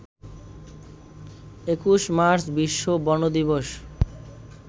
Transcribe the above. ২১ March বিশ্ব বন দিবস